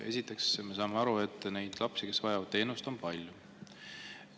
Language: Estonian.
Esiteks, me saame aru, et neid lapsi, kes vajavad teenust, on palju.